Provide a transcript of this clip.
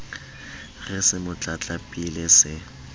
re se mo tlatlapile se